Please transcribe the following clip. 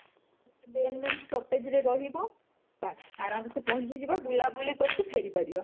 main main stoppage ରେ ରହିବ ବାସ ଆରମ୍ଭ ସେ ପହଂଚି ଯିବ ବୁଲା ବୁଲି କରିକି ଫେରି ପରିବା